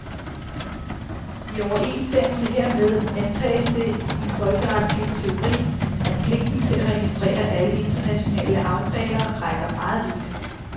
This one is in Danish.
I overensstemmelse hermed antages det i den folkeretslige teori, at pligten til at registrere alle internationale aftaler rækker meget vidt.